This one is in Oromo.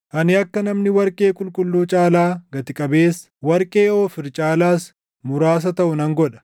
Ani akka namni warqee qulqulluu caalaa gati qabeessa, warqee Oofiir caalaas muraasa taʼu nan godha.